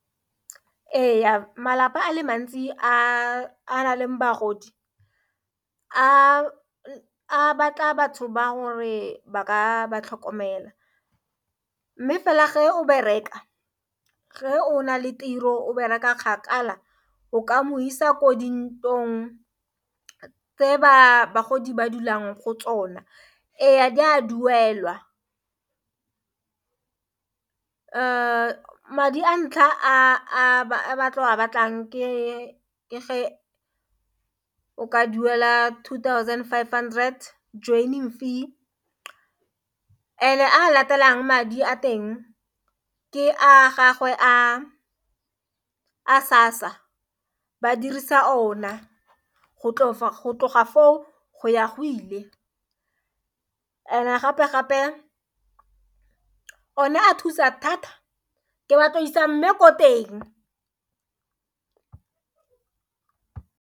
E ya malapa a le mantsi a na leng bagodi a batla batho ba gore ba ka ba tlhokomela, mme fela ge o be reka ge o nale tiro o bereka kgakala o ka moisa ko dintlong tse bagodi ba dulang go tsona e di a duelwa madi a ntlha a ba tlo go a batlang ke ge o ka duela two thousand five hundred joining fee and a latelang madi a teng ke a gagwe a SASSA ba dirisa ona go tloga foo go ya go ile and gape-gape one a thusa thata ke batla go isa mme ko teng.